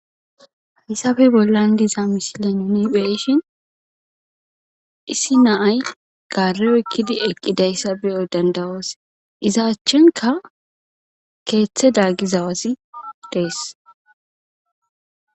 Hayisape bollan diza misileyn nu be7eshin issi na7ay gare oyikidi eqidayisa be7o danida7os iza achanika ketheza gidawazi dees